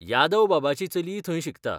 यादव बाबाची चलीय थंय शिकता.